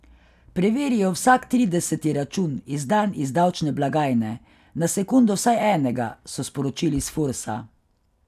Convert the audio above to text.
Preverijo vsak trideseti račun, izdan iz davčne blagajne, na sekundo vsaj enega, so sporočili s Fursa.